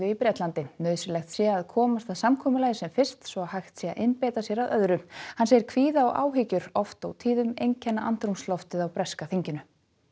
í Brelandi nauðsynlegt sé að komast að samkomulagi sem fyrst svo hægt sé að einbeita sér að öðru hann segir kvíða og áhyggjur oft og tíðum einkenna andrúmsloftið á breska þinginu